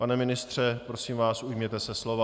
Pane ministře, prosím vás, ujměte se slova.